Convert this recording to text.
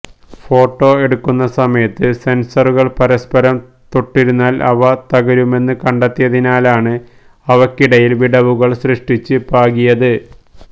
photo എടുക്കുന്ന സമയത്ത് സെന്സറുകള് പരസ്പരം തൊട്ടിരുന്നാല് അവ തകരുമെന്നു കണ്ടെത്തിയതിനാലാണ് അവയ്ക്കിടയില് വിടവുകള് സൃഷ്ടിച്ച് പാകിയത്